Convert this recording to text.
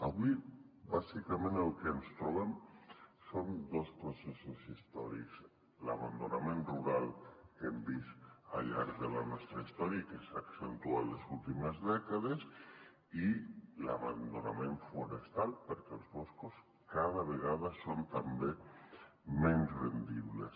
avui bàsicament el que ens trobem són dos processos històrics l’abandonament rural que hem vist al llarg de la nostra història i que s’ha accentuat les últimes dècades i l’abandonament forestal perquè els boscos cada vegada són també menys rendibles